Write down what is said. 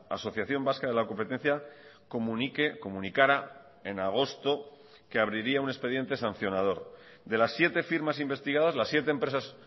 asociación vasca de lacompetencia comunique comunicara en agosto que abriría un expediente sancionador de las siete firmas investigadas las siete empresas